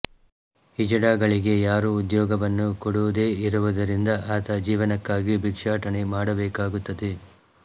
ಹಿಜಡಾಗಳಿಗೆ ಯಾರೂ ಉದ್ಯೋಗವನ್ನು ಕೊಡುದೇ ಇರುವುದರಿಂದ ಆತ ಜೀವನಕ್ಕಾಗಿ ಭಿಕ್ಷಾಟನೆ ಮಾಡಬೇಕಾಗುತ್ತದೆ